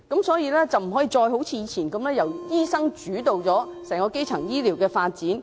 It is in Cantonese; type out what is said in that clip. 所以，政府不能一如以往般，由醫生主導整個基層醫療發展。